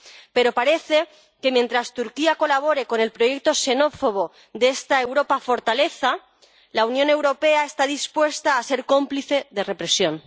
Pero parece que mientras Turquía colabore con el proyecto xenófobo de esta Europa fortaleza, la Unión Europea está dispuesta a ser cómplice de represión.